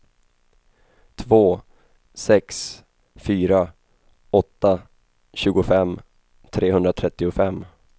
två sex fyra åtta tjugofem trehundratrettiofem